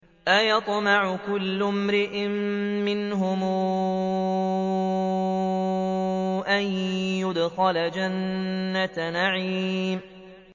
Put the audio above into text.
أَيَطْمَعُ كُلُّ امْرِئٍ مِّنْهُمْ أَن يُدْخَلَ جَنَّةَ نَعِيمٍ